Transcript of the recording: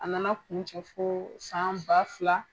A na na kuncɛ fo san ba fila